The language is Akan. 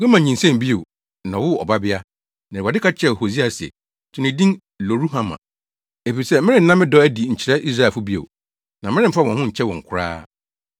Gomer nyinsɛnee bio, na ɔwoo ɔbabea. Na Awurade ka kyerɛɛ Hosea se, “To ne din Lo-ruhama efisɛ, merenna me dɔ adi nkyerɛ Israelfo bio, na meremfa wɔn ho nkyɛ wɔn koraa.